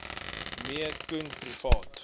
me koen privaat